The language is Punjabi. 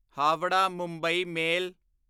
ਹਾਵਰਾ ਮੁੰਬਈ ਮੇਲ